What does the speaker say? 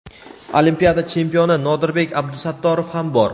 olimpiada chempioni Nodirbek Abdusattorov ham bor.